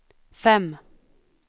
fem